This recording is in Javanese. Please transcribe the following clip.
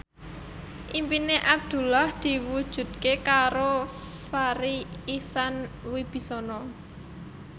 impine Abdullah diwujudke karo Farri Icksan Wibisana